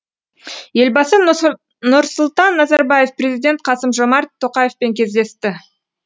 елбасы нұрсұлтан назарбаев президент қасым жомарт тоқаевпен кездесті